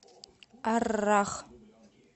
аррах